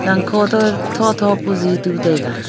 zang kho toh tho tho pu zi tu taiga.